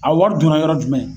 A wari donna yɔrɔ jumɛn?